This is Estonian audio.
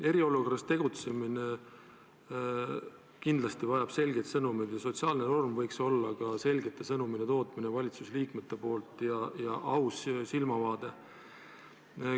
Eriolukorras tegutsemine kindlasti vajab selgeid sõnumeid ja sotsiaalne norm võiks olla ka selgete sõnumite andmine valitsusliikmete poolt ja aus silmavaade.